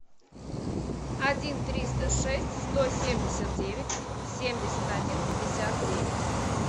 один триста шесть сто семьдесят девять семьдесят один пятьдесят девять